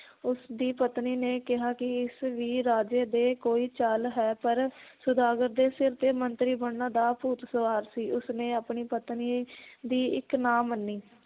ਉਸ ਦੀ ਪਤਨੀ ਨੇ ਕਿਹਾ ਕਿ ਇਸ ਵੀ ਰਾਜੇ ਦੇ ਕੋਈ ਚਾਲ ਹੈ ਪਰ ਸੌਦਾਗਰ ਦੇ ਸਿਰ ਤੇ ਮੰਤਰੀ ਬਣਨ ਦਾ ਭੂਤ ਸਵਾਰ ਸੀ ਉਸ ਨੇ ਆਪਣੀ ਪਤਨੀ ਦੀ ਇੱਕ ਨਾ ਮੰਨੀ